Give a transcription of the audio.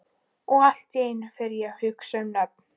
Og allt í einu fer ég að hugsa um nöfn.